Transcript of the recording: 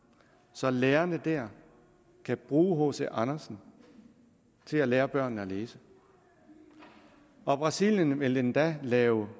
så lærerne der kan bruge hc andersen til at lære børnene at læse brasilien vil endda lave